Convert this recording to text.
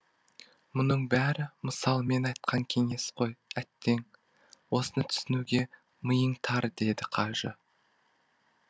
мұның бәрі мысалмен айтқан кеңес қой әттең осыны түсінуге миың тар дейді қажы